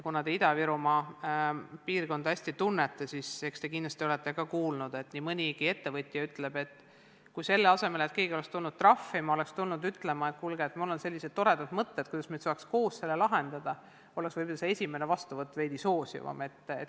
Kuna te Ida-Virumaa piirkonda hästi tunnete, siis olete kindlasti ka kuulnud, et nii mõnigi ettevõtja ütleb, et kui selle asemel et keegi oleks tulnud trahvima, oleks tuldud ütlema, et kuulge, mul on sellised toredad mõtted, kuidas saaks koos probleeme lahendada, oleks võib-olla see esimene vastuvõtt veidi soosivam.